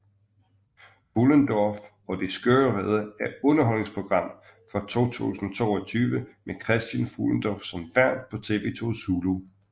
Fuhlendorff og de skøre riddere er underholdningsprogram fra 2022 med Christian Fuhlendorff som vært på TV 2 Zulu